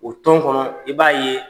O tɔn kɔnɔ i b'a ye,